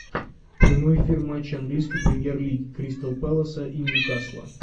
прямой эфир матча английской премьер лиги кристал пэласа и ньюкасла